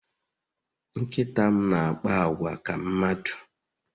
Nkịta m na-akpa àgwà ka mmadụ